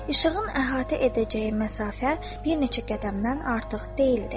İşığın əhatə edəcəyi məsafə bir neçə qədəmdən artıq deyildi.